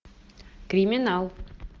криминал